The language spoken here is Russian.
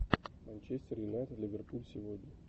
манчестер юнайтед ливерпуль сегодня